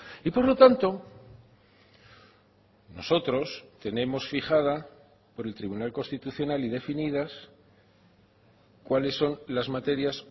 y por lo tanto nosotros tenemos fijada por el tribunal constitucional y definidas cuáles son las materias